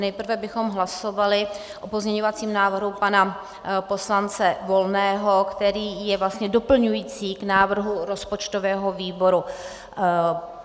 Nejprve bychom hlasovali o pozměňovacím návrhu pana poslance Volného, který je vlastně doplňující k návrhu rozpočtového výboru.